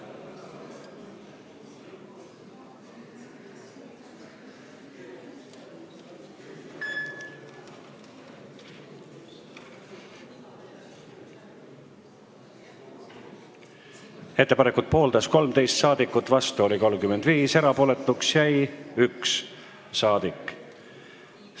Hääletustulemused Ettepanekut pooldas 13 ja vastu oli 35 rahvasaadikut, erapooletuks jäi 1 rahvasaadik.